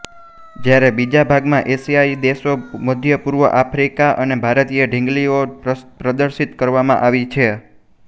જ્યારે બીજા ભાગમાં એશિયાઈ દેશો મધ્યપૂર્વ આફ્રીકા અને ભારતની ઢીંગલીઓ પ્રદર્શિત કરવામાં આવી છે